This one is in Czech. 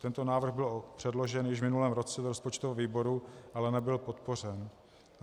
Tento návrh byl předložen již v minulém roce do rozpočtového výboru, ale nebyl podpořen.